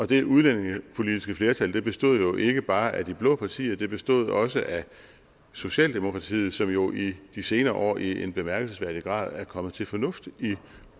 det udlændingepolitiske flertal bestod jo ikke bare af de blå partier det bestod også af socialdemokratiet som jo i de senere år i en bemærkelsesværdig grad er kommet til fornuft i